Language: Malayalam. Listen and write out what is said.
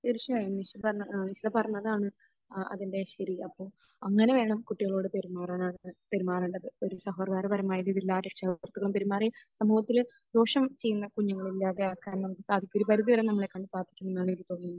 തീർച്ചയായും. നിഷി പറഞ്ഞ...നിഷിദ പറഞ്ഞതാണ് അഹ് അതിന്റെ ശരി. അപ്പോൾ അങ്ങനെ വേണം കുട്ടികളോട് പെരുമാറാൻ. പെരുമാറേണ്ടത്. ഒരു സൗഹാർദപരമായിട്ടും ഇതില്ലാതെ സൗഹൃദത്തോടുകൂടിയും പെരുമാറി സമൂഹത്തിൽ ദോഷം ചെയ്യുന്ന കുഞ്ഞുങ്ങളെ ഒഴിവാക്കാൻ നമുക്ക് സാധിക്കും. ഒരു പരിധി വരെ നമ്മളെക്കൊണ്ട് സാധിക്കുമെന്നാണ് എനിക്കു തോന്നുന്നത്.